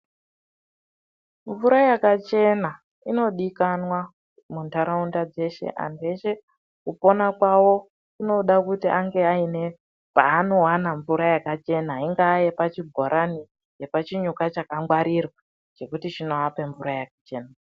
Mvura yakachena inodikanwa mundaraunda dzeshe antu eshe kupona kwavo kunoda kuti ange ane panowana mvura yakachena inga yepachibhorani nepachinyuka chakangwarirwa zvekuti chinohamba mvura yakachena.